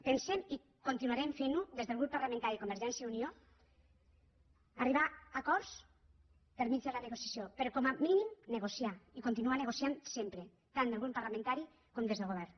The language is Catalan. pensem i continuarem fent ho des del grup de convergència i unió arribar a acords per mitjà de la negociació però com a mínim negociar i continuar nego ciant sempre tant des del grup parlamentari com des del govern